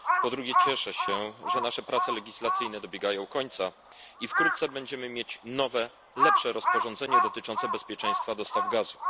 Po drugie, cieszę się, że nasze prace legislacyjne dobiegają końca i wkrótce będziemy mieć nowe lepsze rozporządzenie dotyczące bezpieczeństwa dostaw gazu.